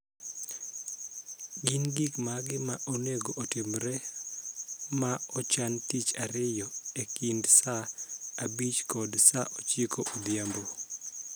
Gin gik mage ma onego otimre ma ochan tich ariyo e kind saa abich kod saa ochiko odhiambo